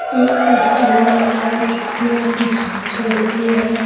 एक पोस्टर लगा हुआ है जिसमें आदमी हाथ जोड़े हुए हैं।